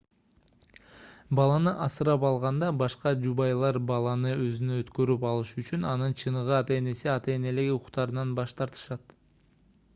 баланы асырап алганда башка жубайлар баланы өзүнө өткөрүп алышы үчүн анын чыныгы ата-энеси ата-энелик укуктарынан баш тартышат